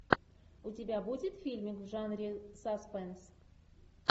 у тебя будет фильмик в жанре саспенс